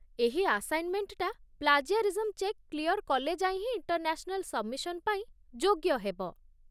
ଏହି ଆସାଇନ୍‌ମେଣ୍ଟଟା plagiarism check clear କଲେ ଯାଇ ହିଁ ଇଣ୍ଟର୍‌ନ୍ୟାସ୍‌ନାଲ୍ ସବ୍‌ମିସନ୍ ପାଇଁ ଯୋଗ୍ୟ ହେବ ।